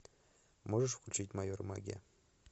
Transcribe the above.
можешь включить майор магия